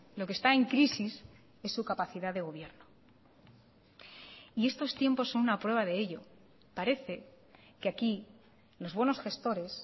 lo que está en crisis es su capacidad de gobierno y estos tiempos son una prueba de ello parece que aquí los buenos gestores